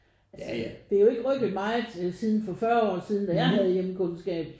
Altså det er jo ikke rykket meget siden for 40 år siden da jeg havde hjemkundskab